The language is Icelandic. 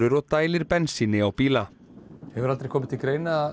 og dælir bensíni á bíla hefur aldrei komið til greina